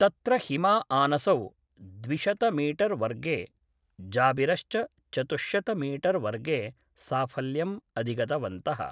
तत्र हिमाआनसौ द्विशतमीटरवर्गे, जाबिरश्च चतुश्शतमीटरवर्गे साफल्यम् अधिगन्तवन्तः।